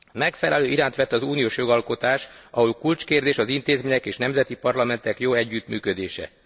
Megfelelő irányt vett az uniós jogalkotás, ahol kulcskérdés az intézmények és nemzeti parlamentek jó együttműködése.